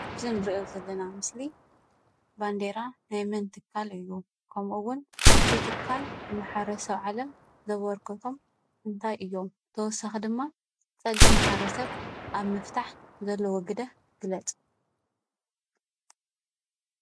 እዚ ንሪኦ ዘለና ምስሊ ባንዴራ ናይ መን ትካል እዩ? ከምኡ ውን እቲ ትካል ንማሕበረሰብ ዓለም ዘበርክቶም እንታይ እዮም? ተወሳኺ ድማ ፀገም ማሕበረሰብ ኣብ ምፍታሕ ዘለዎ ግደ ግለፅ፡፡